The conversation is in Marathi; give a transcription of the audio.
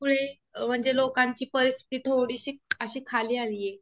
मुळे म्हणजे लोकांची परिस्थिती थोडीशीक अशी खाली आलीये.